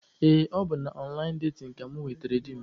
Ee, ọ bụ na ọnlaịn datin ka mụ nwetara di m.